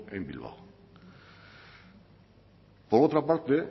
en bilbao por otra parte